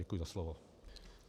Děkuji za slovo.